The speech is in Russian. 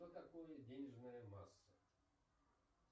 что такое денежная масса